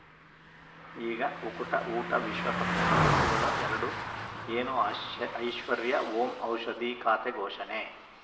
ಈಗ ಉಕುಟ ಊಟ ವಿಶ್ವಕಪ್‌ನಲ್ಲಿ ಋತುಗಳು ಎರಡು ಏನು ಆ ಶೇ ಐಶ್ವರ್ಯಾ ಓಂ ಔಷಧಿ ಖಾತೆ ಘೋಷಣೆ